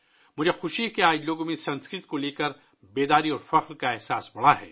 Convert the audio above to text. مجھے خوشی ہے کہ آج لوگوں میں سنسکرت کے بارے میں بیداری اور فخر بڑھ گیا ہے